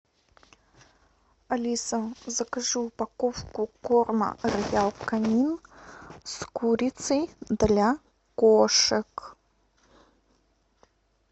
алиса закажи упаковку корма роял канин с курицей для кошек